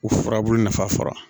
U furabulu nafa fara